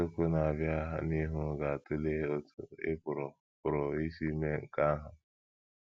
Isiokwu na - abịa n’ihu ga - atụle otú ị pụrụ pụrụ isi mee nke ahụ.